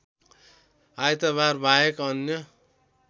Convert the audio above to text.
आइतबार बाहेक अन्य